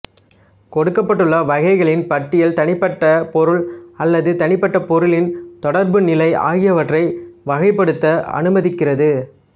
கொடுக்கப்பட்டுள்ள வகைகளின் பட்டியல் தனிப்பட்ட பொருள் அல்லது தனிப்பட்ட பொருளின் தொடர்புநிலை ஆகியவற்றை வகைப்படுத்தப் அனுமதிக்கிறது